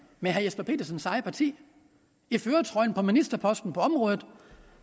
med herre jesper petersens eget parti i førertrøjen med en ministerpost på området